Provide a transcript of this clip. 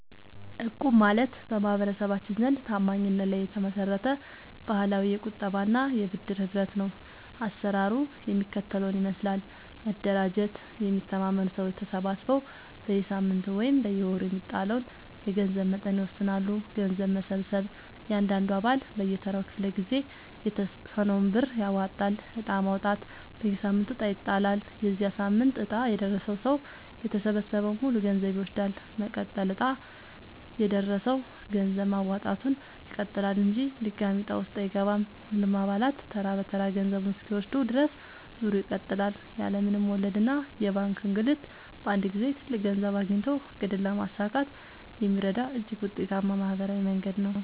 እቁብ ማለት በማህበረሰባችን ዘንድ ታማኝነት ላይ የተመሰረተ ባህላዊ የቁጠባና የብድር ህብረት ነው። አሰራሩ የሚከተለውን ይመስላል፦ መደራጀት፦ የሚተማመኑ ሰዎች ተሰባስበው በየሳምንቱ ወይም በየወሩ የሚጣለውን የገንዘብ መጠን ይወስናሉ። ገንዘብ መሰብሰብ፦ እያንዳንዱ አባል በየተራው ክፍለ-ጊዜ የተወሰነውን ብር ያዋጣል። ዕጣ ማውጣት፦ በየሳምንቱ ዕጣ ይጣላል። የዚያ ሳምንት ዕጣ የደረሰው ሰው የተሰበሰበውን ሙሉ ገንዘብ ይወስዳል። መቀጠል፦ ዕጣ የደረሰው ሰው ገንዘብ ማዋጣቱን ይቀጥላል እንጂ ድጋሚ ዕጣ ውስጥ አይገባም። ሁሉም አባላት ተራ በተራ ገንዘቡን እስኪወስዱ ድረስ ዙሩ ይቀጥላል። ያለ ምንም ወለድና የባንክ እንግልት በአንድ ጊዜ ትልቅ ገንዘብ አግኝቶ ዕቅድን ለማሳካት የሚረዳ እጅግ ውጤታማ ማህበራዊ መንገድ ነው።